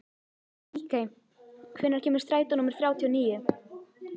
Ríkey, hvenær kemur strætó númer þrjátíu og níu?